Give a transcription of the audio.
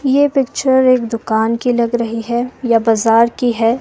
ये पिक्चर एक दुकान की लग रही है या बाजार की है।